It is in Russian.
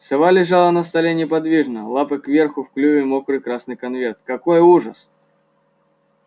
сова лежала на столе неподвижно лапы кверху в клюве мокрый красный конверт какой ужас